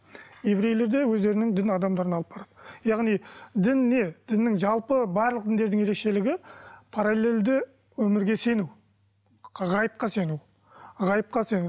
еврейлер де өздерінің дін адамдарына алып барады яғни дін не діннің жалпы барлық діндердің ерекшелігі параллельді өмірге сену ғайыпқа сену ғайыпқа сену